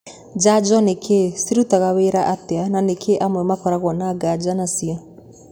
Njanjo nĩ kĩĩ, cirutaga wĩra atĩa na nĩkĩĩ amwe makoragwo na nganja nacio?